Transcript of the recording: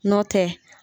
Nɔ tɛ